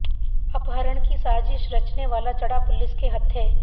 अपहरण की साजिश रचने वाला चढ़ा पुलिस के हत्थे